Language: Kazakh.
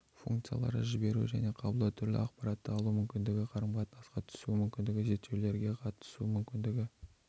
функциялары жіберу және қабылдау түрлі ақпаратты алу мүмкіндігі қарым-қатынасқа түсу мүмкіндігі зерттеулерге қатысу мүмкіндігі